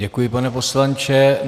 Děkuji, pane poslanče.